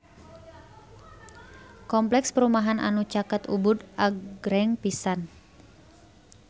Kompleks perumahan anu caket Ubud agreng pisan